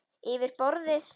Yfir borðið.